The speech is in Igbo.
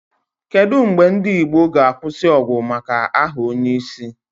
Kedu mgbe ndị Igbo ga-akwụsị ọgụ maka aha onyeisi?